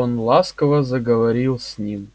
он ласково заговорил с ним